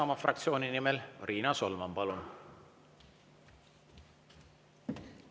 Isamaa fraktsiooni nimel Riina Solman, palun!